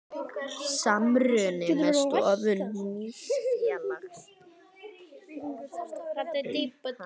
Samruni með stofnun nýs félags.